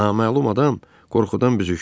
Naməlum adam qorxudan büzüşdü.